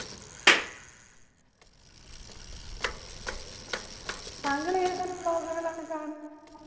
താങ്കൾ ഏത് തരാം vlog കളാണ് കാണുന്നെ